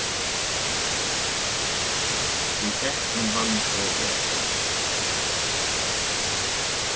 Við þekkjum hann of vel.